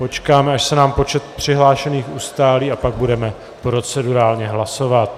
Počkáme, až se nám počet přihlášených ustálí, a pak budeme procedurálně hlasovat.